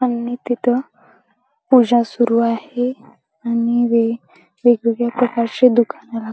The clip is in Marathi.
आणि तिथं पूजा सुरु आहे आणि वेगवेगळ्या प्रकारची दुकानं--